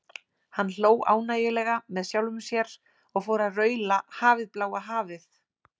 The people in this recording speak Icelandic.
Hann hló ánægjulega með sjálfum sér og fór að raula Hafið, bláa hafið.